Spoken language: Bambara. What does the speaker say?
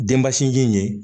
Denba sinji in ye